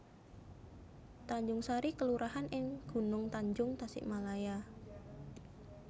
Tanjungsari kelurahan ing Gunungtanjung Tasikmalaya